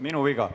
Minu viga.